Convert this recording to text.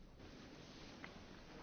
Excelentísimo señor